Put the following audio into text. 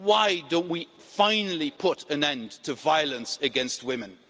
Why don't we finally put an end to violence against women?